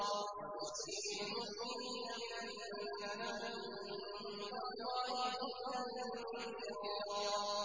وَبَشِّرِ الْمُؤْمِنِينَ بِأَنَّ لَهُم مِّنَ اللَّهِ فَضْلًا كَبِيرًا